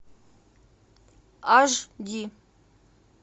аш ди